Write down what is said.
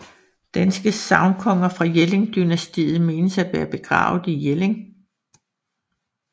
Danske sagnkonger fra Jelling dynastiet menes at være begravet i Jelling